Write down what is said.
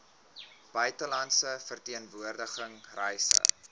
buitelandse verteenwoordiging reise